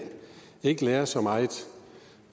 ikke lærer så meget